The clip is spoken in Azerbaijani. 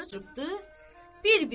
qapıları çırpdı bir-birinə.